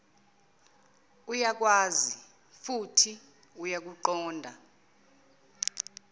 uyakwazi futhi uyakuqonda